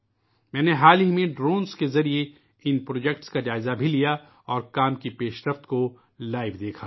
میں نے حال ہی میں ڈرون کے ذریعے ان منصوبوں کا جائزہ لیا اور کام کی پیشرفت کو براہ راست دیکھا